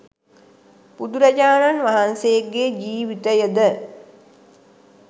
බුදුරජාණන් වහන්සේගේ ජීවිතය ද